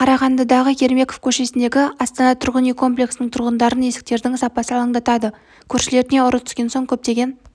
қарағандыдағы ермеков көшесіндегі астана тұрғын үй комплексінің тұрғындарын есіктердің сапасы алаңдатады көршілеріне ұры түскен соң көптеген